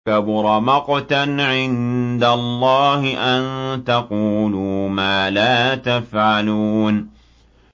كَبُرَ مَقْتًا عِندَ اللَّهِ أَن تَقُولُوا مَا لَا تَفْعَلُونَ